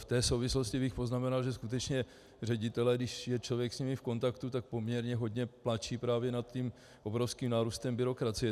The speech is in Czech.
V té souvislosti bych poznamenal, že skutečně ředitelé, když je člověk s nimi v kontaktu, tak poměrně hodně pláčou právě nad tím obrovským nárůstem byrokracie.